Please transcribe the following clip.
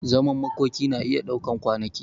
Zaman makoki na iya daukan kwanaki.